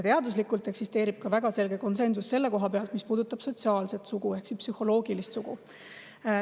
Teaduslikult eksisteerib ka väga selge konsensus selles, mis puudutab sotsiaalset sugu ehk psühholoogilist sugu.